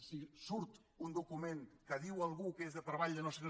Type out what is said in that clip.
si surt un document que diu algú que és de treball de no sé